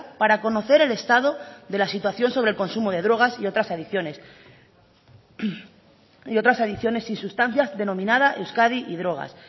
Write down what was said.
para conocer el estado de la situación sobre el consumo de drogas y otras adicciones y sustancias denominada euskadi y drogas